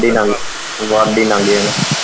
ਵੱਧ ਹੀ ਲੰਘ ਜਾਣਾ।